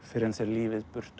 fyrr en þér lífið burtu